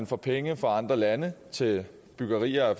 får penge fra andre lande til byggerier